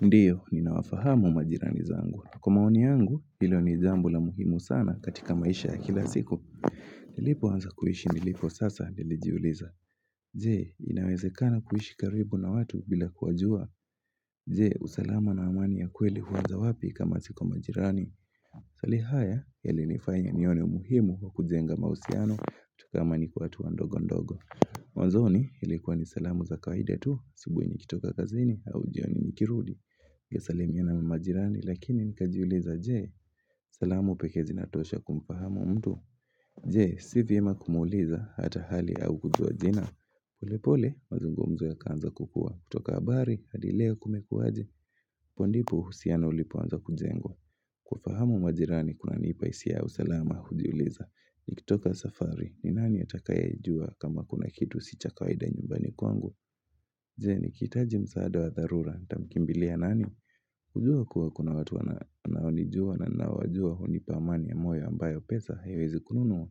Ndiyo, ninawafahamu majirani zangu. Kwa maoni yangu, hilo ni jambo la muhimu sana katika maisha ya kila siku. Nilipo wanza kuishi nilipo sasa, nilijiuliza. Je, inawezekana kuishi karibu na watu bila kuwajua. Je, usalama na amani ya kweli huanza wapi kama si kwamajirani. Swali haya, yali nifanya nione muhimu wa kujenga mahusiano, tukaamani kwa hatua ndogo ndogo. Mwanzoni, ilikuwa ni salamu za kawaida tu, asubui nikitoka kazini, au jioni nikirudi. Ya salimiana na majirani lakini nikajiuliza je salamu peke zinatosha kumfahamu mtu Je, si vyema kumuuliza hata hali au kujua jina polepole, mazungumzo yakaanza kukua kutoka habari, hadi leo kumekuaje apondipo, usiano ulipo anza kujengwa kufahamu mamajirani, kuna nipahisia ya usalama hujiuliza Nikitoka safari, ni nani atakayejua kama kuna kitu si cha kawaida nyumbani kwangu Je, nikiitaji msaada wa dharura, nitamkimbilia nani kujua kuwa kuna watu wanaonijua na nawajua hunipa amani ya moyo ambayo pesa, haiwezi kununua,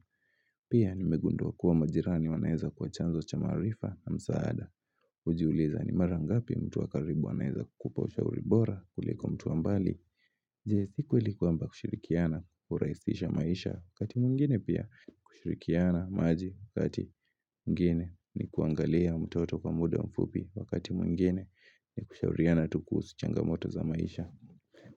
pia nimegunduwa kuwa majirani wanaeza kuwa chanzo cha maarifa na msaada. Hujiuliza ni mara ngapi mtu wakaribu wanaeza kukupa ushauri bora, kuliko mtu wa mbali, je siku ili kwamba kushirikiana, huraisisha maisha, kati mwingine pia kushirikiana maji, kati mwingine ni kuangalia mtoto kwa muda mfupi, wakati mwingine ni kushauriana tukuusu changamoto za maisha.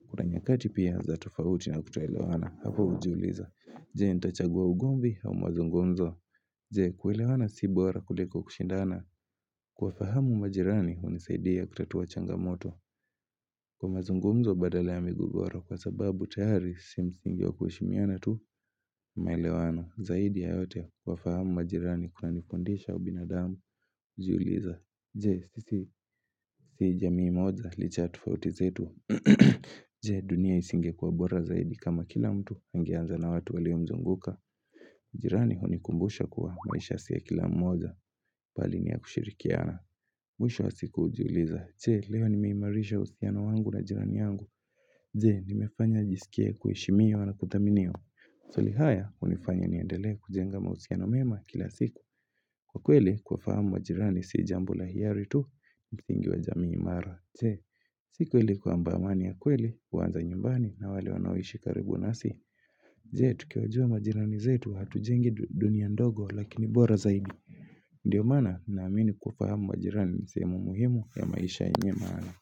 Kuna nyakati pia za tofauti na kutoelewana hapo hujuliza Jee nitachagua ugomvi au mazungumzo Jewe kuelewana si bora kule kwa kushindana Kuwafahamu majirani hunisaidia kutatua changamoto Kwa mazungumzo badala ya migogoro kwa sababu tayari si msingi wa kuheshimiana tu maelewano Zaidi yayote kuwafahamu majirani kuna nifundisha ubinadamu hujiuliza Je, sisi si jamii moja licha ya tofauti zetu Je, dunia isingekuwa bora zaidi kama kila mtu angeanza na watu walio mzunguka jirani hunikumbusha kuwa maisha si ya kila mmoja bali ni ya kushirikiana Mwisho wa siku hujiuliza je leo nimeimarisha uhusiano wangu na jirani yangu Je nimefanya nijisikie kuheshimiwa na kuthaminwa Swali haya hunifanya niendele kujenga mausiano mema kila siku Kwa kweli kuwa fahamu majirani si jambo la hiari tu ni msingi wa jamii imara Je, si kweli kwamba amani ya kweli, huanza nyumbani na wale wanaoishi karibu nasi Je, tukiwajua majirani zetu hatujengi dunia ndogo lakini bora zaidi Ndiyo maana, naamini kuwafahamu majirani nisehemu muhimu ya maisha yenye maana.